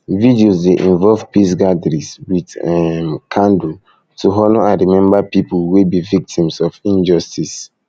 vigils de involve peace gatherings um with um candle to honor and remember pipo wey be victims of injustice um